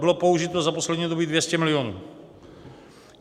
Bylo použito za poslední období 200 milionů.